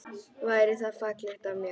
Væri það fallegt af mér?